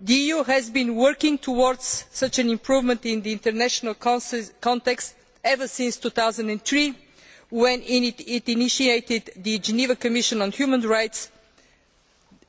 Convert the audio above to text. The EU has been working towards such an improvement in the international context ever since 2003, when it initiated in the Geneva Commission on Human Rights